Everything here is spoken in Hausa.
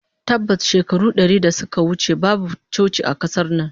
Tabbas, shekaru dari da suka wuce babu coci a kasar nan